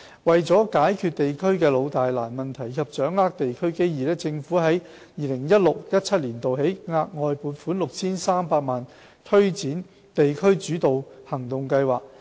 為解決地區的"老、大、難"問題及掌握地區機遇，政府在 2016-2017 年度起，額外撥款 6,300 萬元以推展"地區主導行動計劃"。